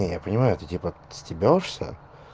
не я понимаю ты типа стебёшься